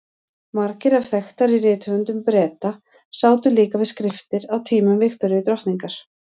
Margir af þekktari rithöfundum Breta sátu líka við skriftir á tímum Viktoríu drottningar.